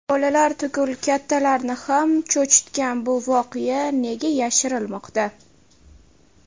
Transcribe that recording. Bolalar tugul kattalarni ham cho‘chitgan bu voqea nega yashirilmoqda?